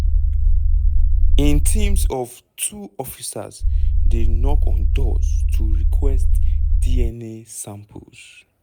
in teams of two officers dey knock on doors to request dna samples.